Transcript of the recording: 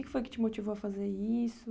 O que foi que te motivou a fazer isso?